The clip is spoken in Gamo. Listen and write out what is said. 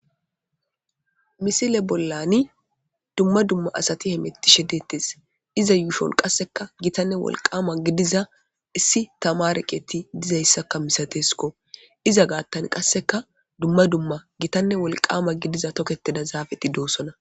Missile bollan dumma dumma asati hemetishe de'tes iza yushshon qasseka giittanne wolqamma gidiza issi tamare keththay dizayssa masatesiko iza gaththan qasseka dumma dumma giitanne wolqama gidiza tokketida zafeti deosona.